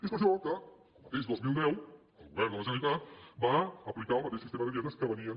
és per això que el mateix dos mil deu el govern de la generalitat va aplicar el mateix sistema de dietes que rebien